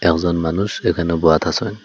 একজন মানুষ এখানে বোয়াত আসয়।